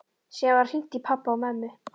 Síðan var hringt í pabba og mömmu.